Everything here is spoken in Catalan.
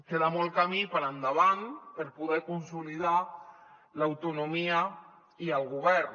queda molt camí per endavant per poder consolidar l’autonomia i el govern